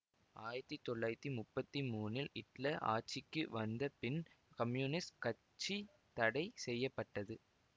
ஆயிரத்தி தொள்ளாயிரத்தி முப்பத்தி மூனில் இட்லர் ஆட்சிக்கு வந்த பின் கம்யூனிஸ்ட் கட்சி தடை செய்ய பட்டது